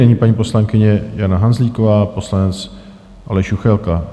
Nyní paní poslankyně Jana Hanzlíková, poslanec Aleš Juchelka.